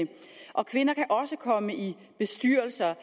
og kvinder kan også komme i bestyrelser